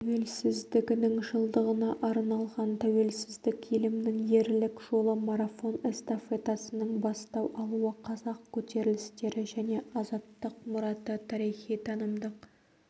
тәуелсіздігінің жылдығына арналған тәуелсіздік елімнің ерлік жолы марафон-эстафетасының бастау алуы қазақ көтерілістері және азаттық мұраты тарихи-танымдық